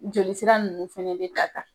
Joli sira ninnu fana bɛ ta tan.